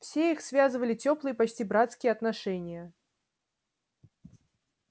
все их связывали тёплые почти братские отношения